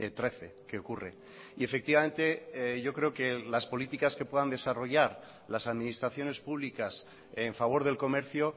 trece que ocurre y efectivamente yo creo que las políticas que puedan desarrollar las administraciones públicas en favor del comercio